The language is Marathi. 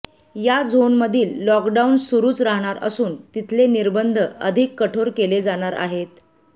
या झोनमधील लॉकडाउन सुरूच राहणार असून तिथले निर्बंध अधिक कठोर केले जाणार आहेत